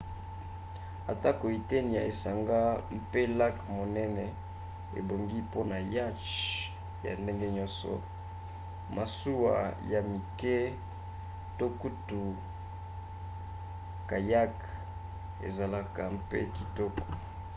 atako eteni ya esanga mpe lac monene ebongi mpona yacth ya ndenge nyonso masuwa ya mike to kutu kayak ezalaka mpe kitoko